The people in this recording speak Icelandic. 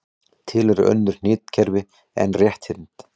Til eru önnur hnitakerfi en rétthyrnd.